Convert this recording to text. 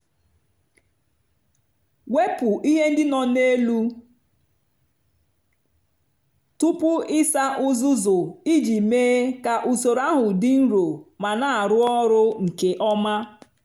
wepụ ihe ndị no na elu tupu ịsa uzuzu iji mee ka usoro ahụ dị nro ma na-arụ ọrụ nke ọma.